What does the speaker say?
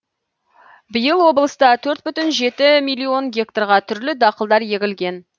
биыл облыста төрт бүтін жеті миллион гектарға түрлі дақылдар егілген